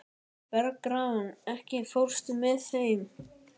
Bergrán, ekki fórstu með þeim?